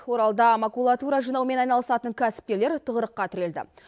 оралда макулатура жинаумен айналысатын кәсіпкерлер тығырыққа тірелді